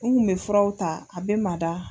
U kun bɛ furaw ta a bɛ mada.